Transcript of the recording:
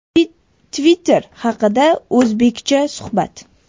Twitter haqida o‘zBeckcha suhbat.